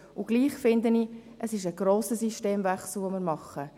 Und doch finde ich, dass wir einen grossen Systemwechsel machen.